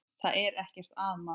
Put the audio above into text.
Það er ekkert að maður.